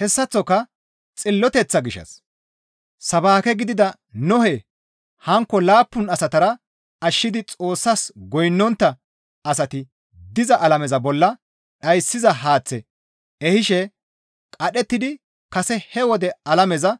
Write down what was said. Hessaththoka xilloteththa gishshas sabaake gidida Nohe hankko laappun asatara ashshidi Xoossas goynnontta asati diza alameza bolla dhayssiza haaththe ehishe qadhettidi kase he wode alameza